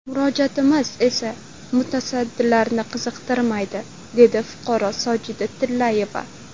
Murojaatimiz esa mutasaddilarni qiziqtirmayapti, dedi fuqaro Sojida Tillayeva.